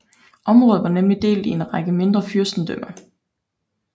Området var nemlig delt i en række mindre fyrstendømmer